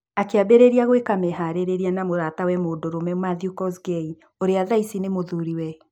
Akĩambĩrĩria gwĩka meharĩrĩria na mũratawe mũndũrũme Mathew Kosgei ũrĩa thaici nĩ mũthuriwe